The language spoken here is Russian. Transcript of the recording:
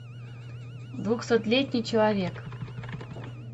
двухсотлетний человек